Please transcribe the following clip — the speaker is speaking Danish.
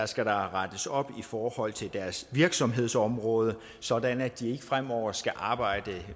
skal der rettes op i forhold til deres virksomhedsområde sådan at de ikke fremover skal arbejde